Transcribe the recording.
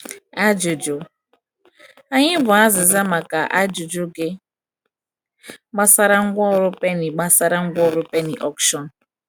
Ajụjụ? Anyị bụ azịza maka ajụjụ gị gbasara Ngwaọrụ Penny gbasara Ngwaọrụ Penny Auction.